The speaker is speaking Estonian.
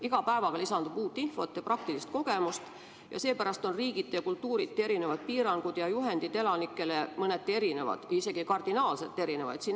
Iga päevaga lisandub uut infot ja praktilist kogemust ning seepärast on riigiti ja kultuuriti piirangud ja juhendid elanikele mõneti erinevad, isegi kardinaalselt erinevaid.